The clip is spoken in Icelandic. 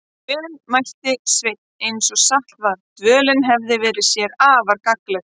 Vel, mælti Sveinn eins og satt var, dvölin hefði verið sér afar gagnleg.